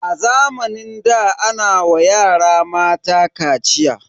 A zamanin da ana wa yara mata kaciya.